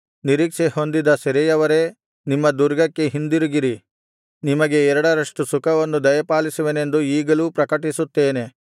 ನಿರೀಕ್ಷೆ ಹೊಂದಿದ ಸೆರೆಯವರೇ ನಿಮ್ಮ ದುರ್ಗಕ್ಕೆ ಹಿಂದಿರುಗಿರಿ ನಿಮಗೆ ಎರಡರಷ್ಟು ಸುಖವನ್ನು ದಯಪಾಲಿಸುವೆನೆಂದು ಈಗಲೂ ಪ್ರಕಟಿಸುತ್ತೇನೆ